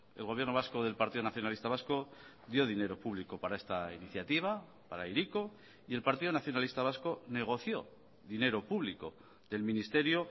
el gobierno vasco del partido nacionalista vasco dio dinero público para esta iniciativa para hiriko y el partido nacionalista vasco negoció dinero público del ministerio